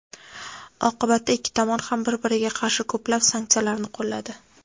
Oqibatda ikki tomon ham bir-biriga qarshi ko‘plab sanksiyalarni qo‘lladi.